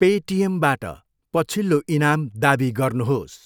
पेटिएमबाट पछिल्लो इनाम दावी गर्नुहोस्।